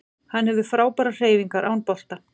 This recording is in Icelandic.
Hann hefur frábærar hreyfingar án bolta